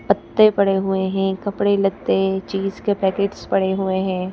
पत्ते पड़े हुए हैं कपड़े लत्ते चीज के पैकेट्स पड़े हुए है।